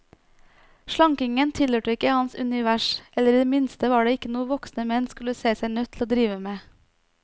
Slankingen tilhørte ikke hans univers, eller i det minste var det ikke noe voksne menn skulle se seg nødt til å drive med.